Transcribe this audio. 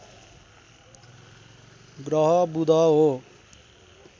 ग्रह बुध हो